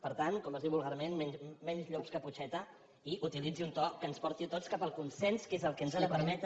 per tant com es diu vulgarment menys llops caputxeta i utilitzi un to que ens porti a tots cap al consens que és el que ens ha de permetre